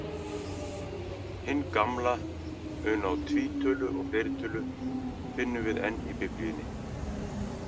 Hinn gamla mun á tvítölu og fleirtölu finnum við enn í Biblíunni.